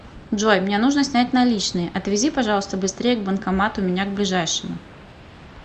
джой мне нужно снять наличные отвези пожалуйста быстрее к банкомату меня к ближайшему